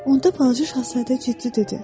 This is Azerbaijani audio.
Onda balaca şahzadə ciddi dedi.